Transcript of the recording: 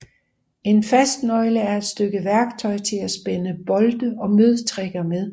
En fastnøgle er et stykke værktøj til at spænde bolte og møtrikker med